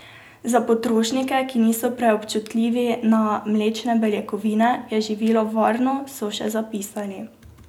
Za potrošnike, ki niso preobčutljivi na mlečne beljakovine, je živilo varno, so še zapisali.